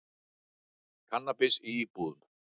Kannabis í íbúðum